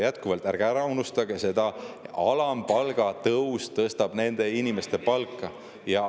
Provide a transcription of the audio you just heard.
Jätkuvalt, ärge unustage seda, et alampalga tõus tõstab nende inimeste palka.